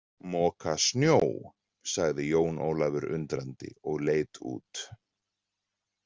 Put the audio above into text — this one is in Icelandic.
Moka snjó, sagði Jón Ólafur undrandi og leit út.